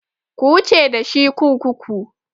Ku wuce dashi kurkuku!